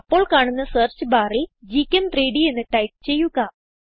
അപ്പോൾ കാണുന്ന സെർച്ച് ബാറിൽ gchem3ഡ് എന്ന് ടൈപ്പ് ചെയ്യുക